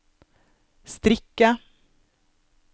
strikke